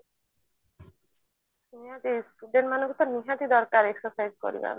ସେଇଆ କହୁଛି student ମାନଙ୍କୁ ତ ନିହାତି ଦରକାର exercise କରିବା ମାନେ